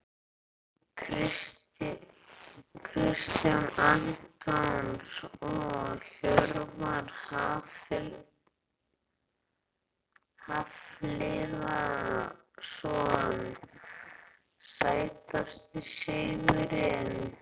Kjartan Antons og Hjörvar Hafliðason Sætasti sigurinn?